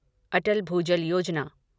अटल भूजल योजना